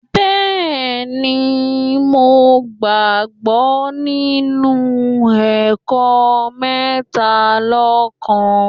Bẹ́ẹ̀ni, mo ń gbàgbọ́ nínú ẹ̀kọ́ Métalọ́kan